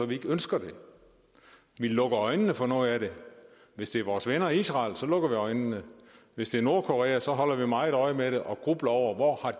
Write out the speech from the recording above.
vi ikke ønsker det vi lukker øjnene for noget af det hvis det er vores venner i israel lukker vi øjnene hvis det er nordkorea holder vi meget øje med det og grubler over hvor